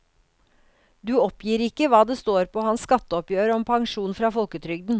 Du oppgir ikke hva det står på hans skatteoppgjør om pensjon fra folketrygden.